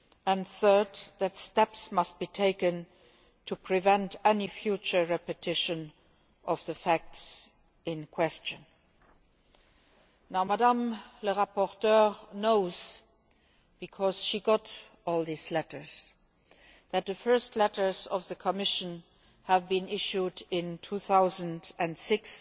and, third, that steps must be taken to prevent any future repetition of the facts in question. The rapporteur knows, because she got all these letters, that the first letters of the Commission were issued in 2006